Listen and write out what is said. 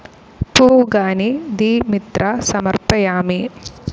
പൂഗാനി തെ മിത്ര സമർപ്പയാമി.